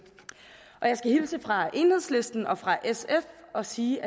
jeg skal hilse fra enhedslisten og fra sf og sige